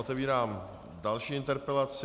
Otevírám další interpelaci.